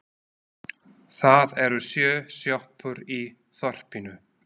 Það eru sjö sjoppur í þorpinu!